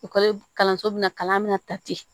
kalanso bɛna kalan min na ta ten